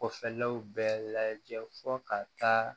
Kɔfɛlɛw bɛɛ lajɛ fo ka taa